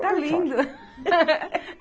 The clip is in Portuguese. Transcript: Tá lindo.